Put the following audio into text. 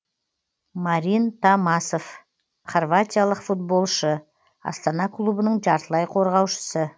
марин томасов хорватиялық футболшы астана клубының жартылай қорғаушысы